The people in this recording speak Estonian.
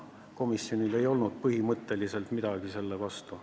Komisjonil ei olnud põhimõtteliselt midagi selle vastu.